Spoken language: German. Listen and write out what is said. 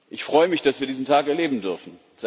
Ich freue mich, dass wir diesen Tag erleben dürfen.